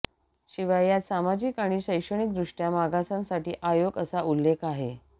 शिवाय यात सामाजिक आणि शैक्षणिक दृष्ट्या मागासांसाठी आयोग असा उल्लेख आहे